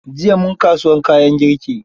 Jiya mun kasuwar kayan girki.